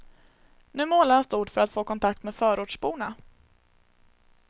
Nu målar han stort för att få kontakt med förortsborna.